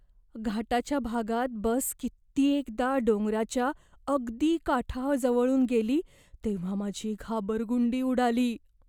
घाटाच्या भागात बस कित्येकदा डोंगराच्या अगदी काठाजवळून गेली तेव्हा माझी घाबरगुंडी उडाली.